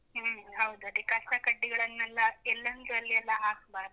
ಹ್ಮ್ ಹೌದು, ಅದೇ ಕಸ ಕಡ್ಡಿಗಳನ್ನೆಲ್ಲ ಎಲ್ಲಂದ್ರಲ್ಲಿ ಎಲ್ಲ ಹಾಕ್ಬಾರ್ದು.